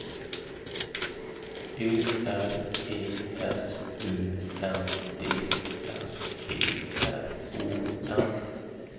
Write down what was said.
Ö R E S U N D S B R O N